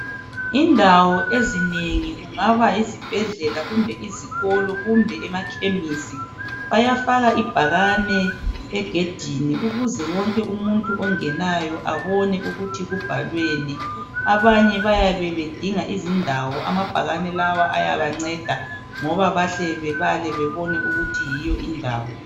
Insawo ezinengi kungaba yizibhedlela kumbe izikolo kumbe emakhemesi bayafaka bafaka ibhakane egedini ukuze wonke umuntu ongenayo abone ukuthi kubhalweni. Abanye bayabe bedinga izindawo amabhakane lawo ayabanceda ngoba bahle bebale bebone ukuthi yiyo indawo